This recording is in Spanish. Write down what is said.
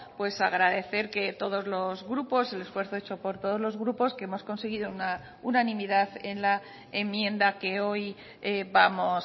pues agradecer que todos los grupos el esfuerzo hecho por todos los grupos que hemos conseguido una unanimidad en la enmienda que hoy vamos